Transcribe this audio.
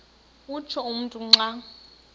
utsho umntu xa